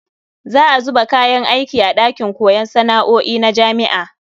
Za a zuba kayan aiki a ɗakin koyon sana'o'i na jami'a.